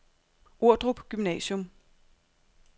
Ordrup Gymnasium